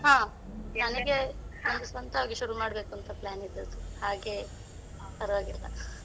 ಹ್ಮ್ ನನ್ಗೆ ಸ್ವಂತವಾಗಿ ಶುರು ಮಾಡ್ಬೇಕುಂತಾ plan ಇದ್ದದ್ದು ಹಾಗೆ .